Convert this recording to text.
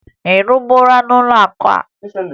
Ị rụburu n'ụlọakụ a?